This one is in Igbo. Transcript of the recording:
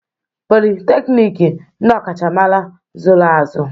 Politeknik, ndị ọkachamara zụrụ azụ.